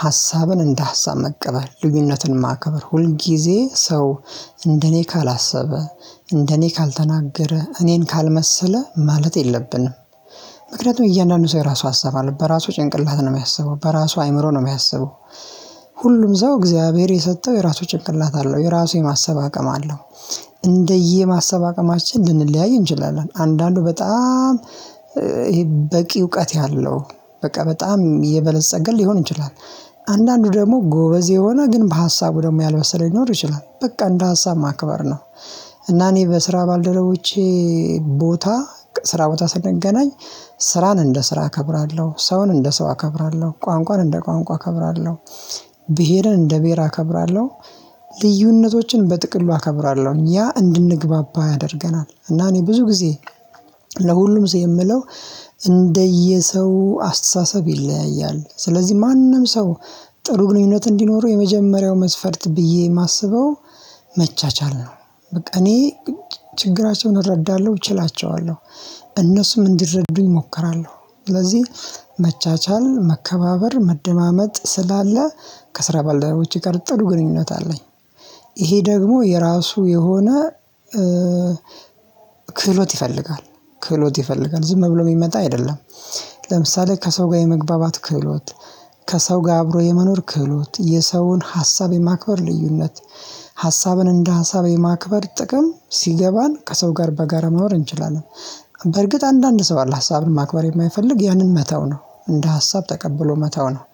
ሀሳብን እንደ ሀሳብ መቀበል ልዩነትን ማከብር ሁል ጊዜ ሰው እንደኔ ካላሰበ እንደኔ ካልተናገረ እኔን ካልመሰለ ማለት የለብንም። ምክንያቱም እያንዳንዱ ሰው የራሱ ሃስብ አለው በራሱ ጭንቅላት ነው የሚያስበው በራሱ አይምሮ ነው የሚያስበው። ሁሉም እሰው እግዚአብሔር የሰጠው የራሱ ጭንቅላት አለው የራሱ የማሰብ አቅም አለው። እንደየ ማሰብ አቅማችን ልንለያይ እንችላለን አንዳንዱ በጣም ይሄ በቂ እውቀት ያለው በቃ በጣም የበለፀገ ሊሆን ይችላል። አንዳንዱ ደግሞ ጎበዝ የሆነ ግን በሀሳቡ ደግሞ ያልበሰለ ሊኖር ይችላል በቃ እንደ ሀሳብ ማክበር ነው። እና እኔ በስራ ባልደረቦቼ ቦታ ስራ ቦታ ስንገናኝ ስራን እንደ ስራ እከብራለሁ ሰውን እንደ ሰው አከብራለሁ ቋንቋን እንደ ቋንቋ እከብራለሁ። ብሄርን እንደ ብሄር አከብራለሁ። ልዩነቶችን በጥቅሉ አከብራለሁ ያ እንድንግባባ ያደርገናል። እና እኔ ብዙ ጊዜ ለሁሉም ሰው የምለው እንደየ ሰው አስተሳሰብ ይለያያል ስለዚህ ማንም ሰው ጥሩ ግንኙነት እንዲኖረው የመጀመሪያው መስፈርት ብዬ የማስበው መቻቻል ነው። በቃ እኔ ችግራቸውን እረዳለሁ እችላቸዋለሁ። እነሱም እንዲረዱኝ እሞክራለው። ስለዚህ መቻቻል መከባበር መደማመጥ ስላለ ከስራ ባልደረቦቼ ጋር ጥሩ ግንኙነት አለኝ። ይሄ ደግሞ የራሱ የሆነ ክህሎት ይፈልጋል። ክህሎት ይፈልጋል ዝም ብሎ የሚመጣ አይደለም። ለምሳሌ ከሰው ጋር የመግባባት ክህሎት ከሰው ጋር አብሮ የመኖር ክህሎት የሰውን ሀሳብ የማክበር ልዩነት ሀሳብን እንደ ሀሳብ የማክበር ጥቅም ሲገባን ከሰው ጋር በጋራ መኖር እንችላለን። በርግጥ አንዳንድ ሰው አለ ሀሳብን ማክበር የማይፈልግ ያንን መተው ነው እንደ ሀሳብ ተቀብሎ መተው ነው።